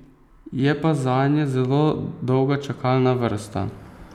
Je pa zanje zelo dolga čakalna vrsta.